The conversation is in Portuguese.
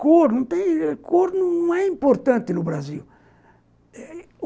Cor não tem cor não é importante no Brasil.